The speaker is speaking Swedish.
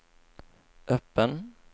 öppen